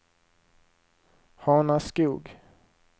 Hanaskog